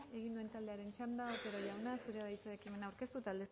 egin duen taldearen txanda otero jauna zurea da hitza ekimena aurkeztu eta aldezteko